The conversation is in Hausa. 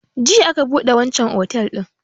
Jiya aka buɗe wanchan otel din